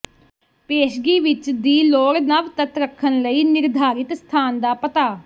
ਪੇਸ਼ਗੀ ਵਿੱਚ ਦੀ ਲੋੜ ਨਵ ਤੱਤ ਰੱਖਣ ਲਈ ਨਿਰਧਾਰਿਤ ਸਥਾਨ ਦਾ ਪਤਾ